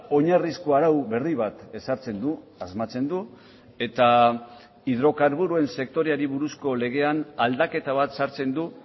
oinarrizko arau berri bat ezartzen du asmatzen du eta hidrokarburoen sektoreari buruzko legean aldaketa bat sartzen du